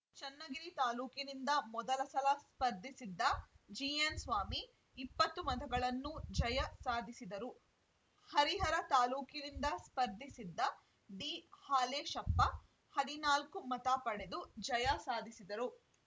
ಚನ್ನಗಿರಿ ತಾಲೂಕಿನಿಂದ ಮೊದಲ ಸಲ ಸ್ಪರ್ಧಿಸಿದ್ದ ಜಿಎನ್‌ಸ್ವಾಮಿ ಇಪ್ಪತ್ತು ಮತಗಳನ್ನು ಜಯ ಸಾಧಿಸಿದರು ಹರಿಹರ ತಾಲೂಕಿನಿಂದ ಸ್ಪರ್ಧಿಸಿದ್ದ ಡಿಹಾಲೇಶಪ್ಪ ಹದಿನಾಲ್ಕು ಮತ ಪಡೆದು ಜಯ ಸಾಧಿಸಿದರು